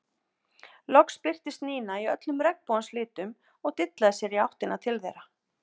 Loks birtist Nína í öllum regnbogans litum og dillaði sér í áttina til þeirra.